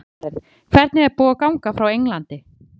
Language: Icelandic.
Karen: Hvernig er búið að ganga frá Englandi?